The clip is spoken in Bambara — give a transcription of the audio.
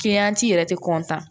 yɛrɛ tɛ